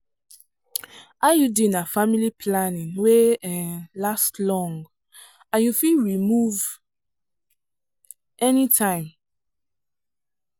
iud na family planning wey um last long um and you fit remove um anytime.